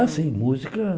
Ah, sim, música.